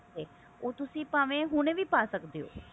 ਉਹ ਤੁਸੀਂ ਭਾਵੇਂ ਹੁਣ ਵੀ ਪਾ ਸਕਦੇ ਹੋ